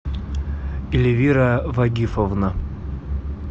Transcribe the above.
эльвира вагифовна